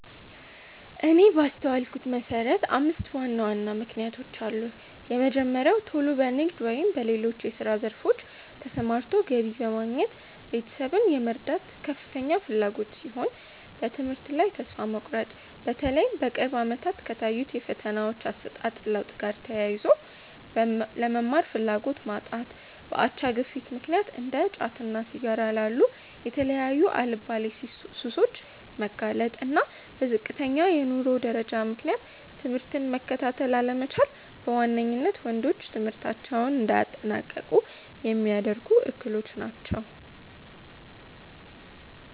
እኔ ባስተዋልኩት መሰረት አምስት ዋና ዋና ምክንያቶች አሉ። የመጀመሪያው ቶሎ በንግድ ወይም በሌሎች የስራ ዘርፎች ተሰማርቶ ገቢ በማግኘት ቤተሰብን የመርዳት ከፍተኛ ፍላጎት ሲሆን፤ በትምህርት ላይ ተስፋ መቁረጥ(በተለይም በቅርብ አመታት ከታዩት የፈተናዎች አሰጣጥ ለውጥ ጋር ተያይዞ)፣ ለመማር ፍላጎት ማጣት፣ በአቻ ግፊት ምክንያት እንደ ጫትና ሲጋራ ላሉ የተለያዩ አልባሌ ሱሶች መጋለጥ፣ እና በዝቅተኛ የኑሮ ደረጃ ምክንያት ትምህርትን መከታተል አለመቻል በዋነኝነት ወንዶች ትምህርታቸውን እንዳያጠናቅቁ ሚያደርጉ እክሎች ናቸው።